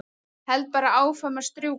Held bara áfram að strjúka.